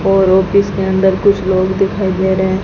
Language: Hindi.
और ऑफिस के अंदर कुछ लोग दिखाई दे रहे--